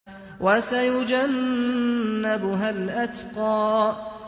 وَسَيُجَنَّبُهَا الْأَتْقَى